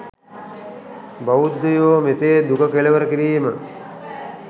බෞද්ධයෝ මෙසේ දුක කෙළවර කිරීම